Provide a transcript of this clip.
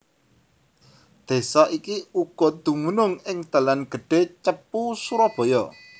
Desa iki uga dumunung ing dalan gedhé Cepu Surabaya